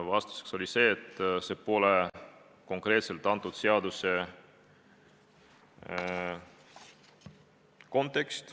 Vastuseks oli, et see teema jääb väljapoole antud seaduse konteksti.